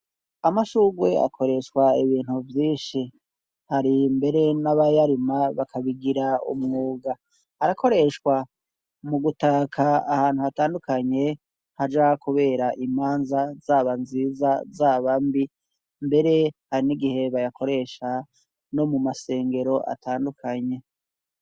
Amashugwe akoreshwa ibintu byinshi hari mbere n'abayarima bakabigira umwuga arakoreshwa mu gutaka ahantu hatandukanye haja kubera imanza zaba nziza zaba mbi mbere hari n'igihe bayakoresha no mu masengero atandukanye.